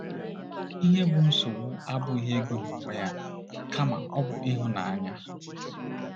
Ihe bụ́ nsogbu abụghị ego n’onwe ya, kama ọ bụ ịhụ ya n’anya.